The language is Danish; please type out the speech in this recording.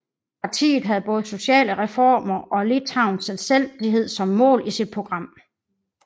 Partiet havde både sociale reformer og Litauens selvstændighed som mål i sit program